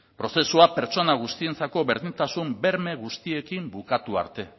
prozesua pertsona guztientzako berdintasun berme guztiekin bukatu arte